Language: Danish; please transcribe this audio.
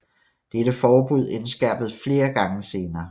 Dette forbud indskærpedes flere gange senere